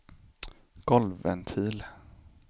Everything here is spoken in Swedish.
golvventil